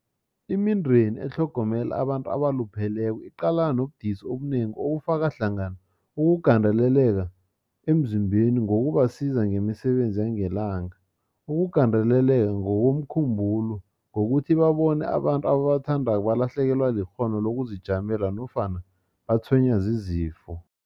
Imindeni etlhogomela abantu abalupheleko iqalana nobudisi obunengi obufaka hlangana ukugandeleleka emzimbeni ngokubasiza ngemisebenzi yangelanga, ukugandeleleka ngokomkhumbulo ngokuthi babone abantu ababathandako balahlekelwa likghono lokuzijamela nofana batshwenywa zizifo.